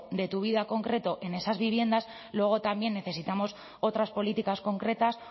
de tu vida concreto en esas viviendas luego también necesitamos otras políticas concretas